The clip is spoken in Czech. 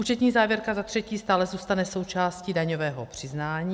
Účetní závěrka - za třetí - stále zůstane součástí daňového přiznání.